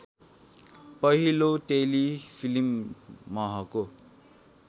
पहिलो टेलिफिल्म महको